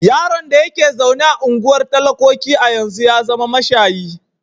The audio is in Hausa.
Yaron da ke zaune a unguwar talakoki a yanzu ya zama mashayi.